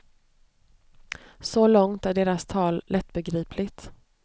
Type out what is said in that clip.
Så långt är deras tal lättbegripligt.